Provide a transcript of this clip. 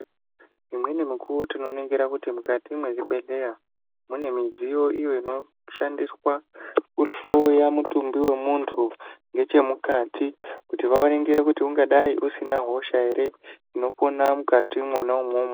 Imweni mukuwo tinoningira kuti mukati mezvibhedhleya mune midziyo iyo inoshandiswa kuhloya mutumbi wemuntu ngechemukati kuti vaningire kuti ungadai usina hosha ere inopona mwukati mwona imwomwo.